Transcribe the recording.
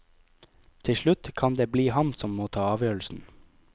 Til slutt kan det bli han som må ta avgjørelsen.